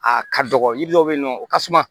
A ka dɔgɔ yiri dɔ bɛ yen nɔ o ka suma